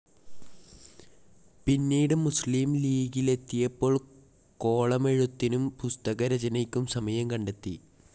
പിന്നീടു മുസ്‍‌ലിം ലീഗിലെത്തിയപ്പോൾ കോളമെഴുത്തിനും പുസ്തകരചനയ്ക്കും സമയം കണ്ടെത്തി.